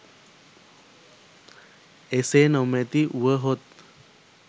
එසේ නොමැති වුවහොත්